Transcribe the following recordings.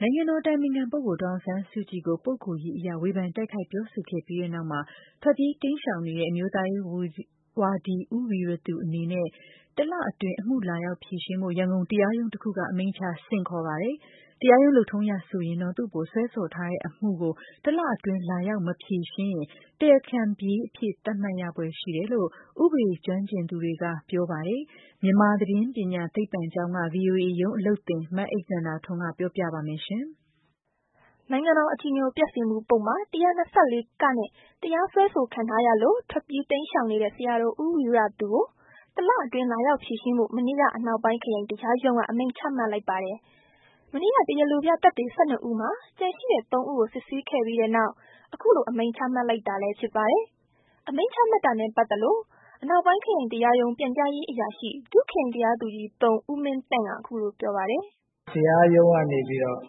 နိုင်ငံတော်အတိုင်ပင်ခံပုဂ္ဂိုလ် ဒေါ်အောင်ဆန်းစုကြည်ကို ပုဂ္ဂိုလ်ရေးအရ ဝေဖန်တိုက်ခိုက် ပြောဆိုခဲ့ပြီးနောက် ထွက်ပြေးတိမ်းရှောင်နေတဲ့ အမျိုးသားရေးဝါဒီ ဦးဝီရသူအနေနဲ့ တလအတွင်း အမှု လာရောက်ဖြေရှင်းဖို့ ရန်ကုန်တရားရုံးတခုက အမိန့်ချ ဆင့်ခေါ်ပါတယ်။ တရားရုံးလုပ်ထုံးအရဆိုရင်တော့ သူ့အပေါ် စွဲဆိုထားတဲ့အမှုကို တလအတွင်း လာရောက်မဖြေရှင်းရင် တရားခံပြေးအဖြစ်သတ်မှတ်ခံရဖွယ်ရှိတယ်လို့ ဥပဒေရေးကျွမ်းကျင်သူတွေက ပြောပါတယ်။ မြန်မာသတင်းပညာသိပ္ပံကျောင်းက ဗွီအိုအေရုံးအလုပ်သင် အိမ့်သန္တာထွန်း က ပြောပြပါလိမ့်မယ်။ နိုင်ငံတော် အကြည်ညိုပျက်စေမှု ၁၂၄(က) နဲ့ တရားစွဲဆိုခံထားရလို့ ထွက်ပြေး တိမ်းရှောင်နေတဲ့ ဆရာတော် ဦးဝီရသူကို တလအတွင်း လာရောက်ဖြေရှင်းဖို့ မနေ့က အနောက်ပိုင်း ခရိုင်တရားရုံးက အမိန့်ချမှတ် လိုက်ပါတယ်။ မနေ့က တရားလိုပြသက်သေ ၁၂ ဦးမှာ ကျန်ရှိတဲ့ ၃ ဦးကို စစ်ဆေးခဲ့ပြီးနောက် အခုလို အမိန့် ချမှတ်လိုက်တာလည်း ဖြစ်ပါတယ်။ အမိန့်ချမှတ်တာနဲ့ ပတ်သက်လို့ အနောက်ပိုင်း ခရိုင်တရားရုံး ပြန်ကြားရေးအရာရှိ ဒုခရိုင်တရားသူကြီး(၃) ဦးမင်းသန့်က အခုလိုပြောပါတယ်။ "တရားရုံးကနေပြီးတော့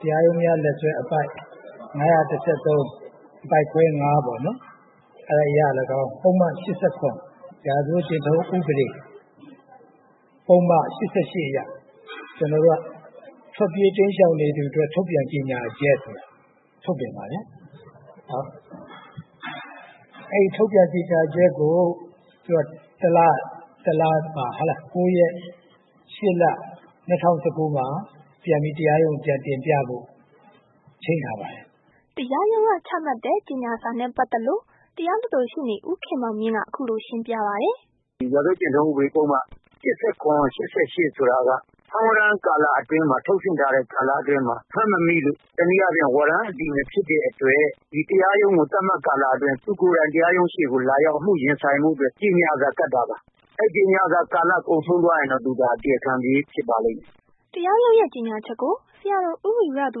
တရားရုံးများလက်စွဲ အပိုဒ် ၅၁၃ အပိုဒ်ခွဲ ၅ ပေါ့နော်။ ပုဒ်မ ၈၇ ရာဇဝတ်ကျင့်ထုံး ဥပဒေ ၈၈ အရ ကျွန်တော်တို့က ထွက်ပြေးတိမ်းရှောင်နေသူအတွက် ထုတ်ပြန်ကြေညာချက်ဆိုတာ ထုတ်ပြန်ပါတယ်။ အဲ့ထုတ်ပြန်ကြေညာချက်ကို တလမှာ ၉ ရက် ၈ လ ၂၀၁၉ မှာ ပြန်ပြီး တရားရုံးကို ပြန်တင်ပြဖို့ ချိန်းထား ပါတယ်။" တရားရုံးက ချမှတ်တဲ့ ကြေညာစာနဲ့ ပတ်သက်လို့ တရားလွှတ်တော် ရှေ့နေ ဦးခင်မောင်မြင့်က အခုလို ရှင်းပြပါတယ်။ "ဒီရာဇဝတ်ကျင့်ထုံး ၈၇-၈၈ဆိုတာက ဖမ်းဝရမ်းကာလအတွင်းမှာ ထုတ်ဆင့်ထားတဲ့ ကာလအတွင်းမှာ ဖမ်းမမိလို့ ဝရမ်းအတည်မဖြစ်တဲ့အတွက် တရားရုံးကို သတ်မှတ်ကာလအတွင်း သူကိုယ်တိုင် တရားရုံး ရှေ့မှာ အမှုရင်ဆိုင်ဖို့အတွက် ကြေညာစာကပ်တာပါ။ အဲ့ကြေညာစာကာလ ကုန်ဆုံးသွားရင်တော့ သူဒါ တရားခံပြေး ဖြစ်ပါလိမ့်မယ်။" တရားရုံးရဲ့ကြေညာချက်ကို ဆရာတော် ဦးဝီရသူ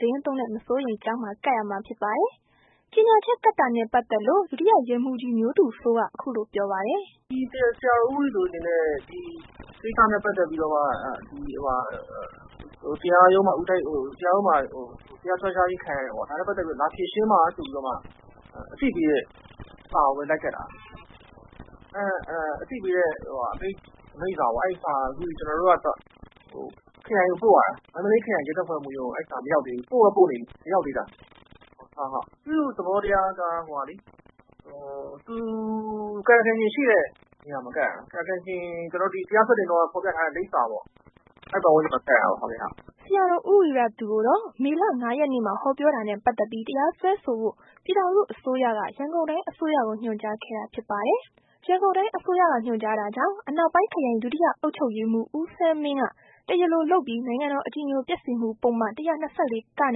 သီတင်းသုံးတဲ့ မစိုးရိမ်ကျောင်းမှာ ကပ်ရမှာ ဖြစ်ပါတယ်။ ကြေညာချက်ကပ်တာနဲ့ ပတ်သက်လို့ ဒုတိယရဲမှူးကြီး မျိုးသူစိုးက အခုလိုပြောပါတယ်။ "ဒီ ဆရာတော် ဦးဝီရသူအနေနဲ့ ဒီကိစ္စနဲ့ပတ်သက်ပြီးတော့မှ တရားရုံးမှာ တရားစွဲထားခြင်းခံရတယ်ပေါ့။ ဒါနဲ့ ပတ်သက်လို့ လာဖြေရှင်းပါဆိုပြီးတော့မှ အသိပေးတဲ့စာကိုပဲ လိုက်ကပ်တာ။ အသိပေးတဲ့ အမိန့်စာပေါ့။ အမိန့်စာကို အခုကျွန်တော်တို့ကတော့ ခရိုင်ကိုပို့ရတာ။ မန္တလေးခရိုင်ရဲတပ်ဖွဲ့မှူးရုံးကို အဲ့ဒီစာမရောက်သေး ဘူး။ ပို့တော့ ပို့နေပြီမရောက်သေးတာ။ သူ့သဘောတရားက ကာယကံရှင်ရှိတဲ့နေရာမှာ ကပ်ရတာ။ ကာယကံရှင် တရားစွဲတင်တုန်းက ဖော်ပြထားတဲ့ လိပ်စာမှာ ကပ်ရတာပေါ့။" ဆရာတော် ဦးဝီရသူကိုတော့ မေလ ၅ ရက်နေ့မှာ ဟောပြောတာနဲ့ ပတ်သက်ပြီး တရားစွဲဆိုဖို့ ပြည်ထောင်စုအစိုးရက ရန်ကုန်တိုင်းအစိုးရကို ညွှန်ကြားခဲ့တာဖြစ်ပါတယ်။ ရန်ကုန်တိုင်းအစိုးရက ညွှန်ကြားတာကြောင့် အနောက်ပိုင်း ခရိုင် ဒုတိယ အုပ်ချုပ်ရေးမှူး ဦးဆန်းမင်းက တရားလိုလုပ်ပြီး နိုင်ငံတော် အကြည်ညိုပျက်စေမှု ပုဒ်မ ၁၂၄(က) နဲ့ တရား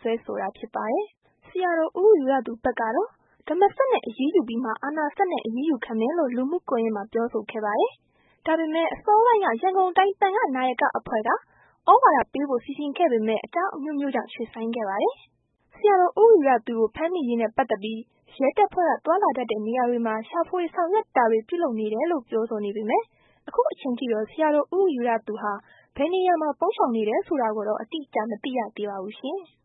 စွဲဆိုတာဖြစ်ပါတယ်။ ဆရာတော်ဦးဝီရသူဘက်တော့ ဓမ္မစက်နဲ့ အရေးယူပြီးမှ အာဏာစက်နဲ့ အရေးယူခံမယ်လို့ လူမှုကွန်ယက်မှာ ပြောဆိုခဲ့ပါတယ်။ ဒါပေမယ့် အစောပိုင်းက ရန်ကုန်းတိုင်း သံဃာ့နာယက အဖွဲ့က သြဝါဒပေးဖို့စီစဉ်ခဲ့ပေမယ့် အကြောင်းအမျိုးမျိုးကြောင့် ရွှေ့ဆိုင်းခဲ့ပါတယ်။ ဆရာတော် ဦးဝီရသူကို ဖမ်းမိရေးနဲ့ ပတ်သက်ပြီး ရဲတပ်ဖွဲ့က သွားလာတတ်တဲ့နေရာတွေမှာ ရှာဖွေဆောင်ရွက် တာတွေ ပြုလုပ်နေတယ်လို့ ပြောဆိုနေပေမယ့် အခုချိန်ထိတော့ ဆရာတော်ဦးဝီရသူဟာ ဘယ်နေရာမှာ ပုန်းရှောင်းနေတယ်ဆိုတာကိုတော့ မသိရသေးပါဘူး။